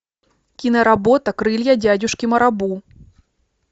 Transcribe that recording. киноработа крылья дядюшки марабу